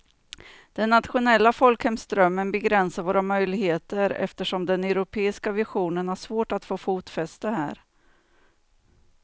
Den nationella folkhemsdrömmen begränsar våra möjligheter eftersom den europeiska visionen har svårt att få fotfäste här.